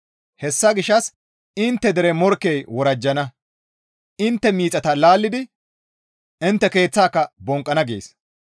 Hessa gishshas intte dere morkkey worajjana; intte miixata laallidi intte keeththaaka bonqqana» gees.